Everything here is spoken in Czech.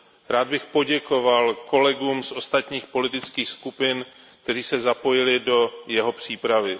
Rád bych poděkoval kolegům z ostatních politických skupin, kteří se zapojili do jeho přípravy.